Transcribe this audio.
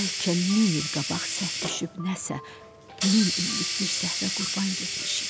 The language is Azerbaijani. Bəlkə min il qabaq səhv düşüb nəsə min illik bir səhvə qurban getmişik.